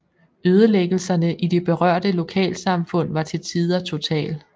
Ødelæggelserne i de berørte lokalsamfund var til tider total